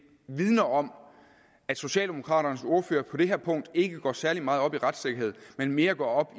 vidner om at socialdemokraternes ordfører på det her punkt ikke går særlig meget op i retssikkerhed men mere går op